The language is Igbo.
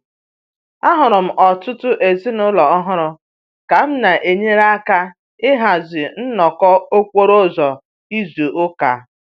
Ahụrụ m ọtụtụ ezinụlọ ọhụrụ ka m na-enyere aka ịhazi nnọkọ okporo ụzọ izu ụka